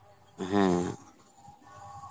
হ্যাঁ